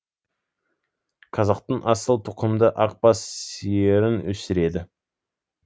қазақтың асыл тұқымды ақбас сиырын өсіреді